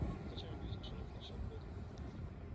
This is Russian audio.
зачем бизнесу нужны чат-боты